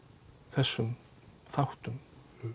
þessum þáttum